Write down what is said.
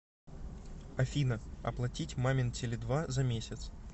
афина оплатить мамин теле два за месяц